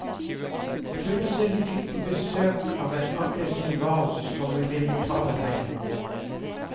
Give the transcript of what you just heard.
Plutselig fikk de besøk av en aggresiv hval som ville ta dem begge.